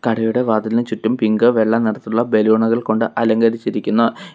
കടയുടെ വാതിലിന് ചുറ്റും പിങ്ക് വെള്ള നിറത്തിലുള്ള ബലൂണുകൾ കൊണ്ട് അലങ്കരിച്ചിരിക്കുന്നു.